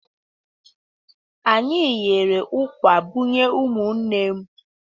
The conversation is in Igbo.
Anyị ghere ụkwà bunye ụmụnne m.